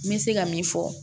N bɛ se ka min fɔ